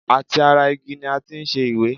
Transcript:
Àti ara igi ni a ti ṣe ìwé?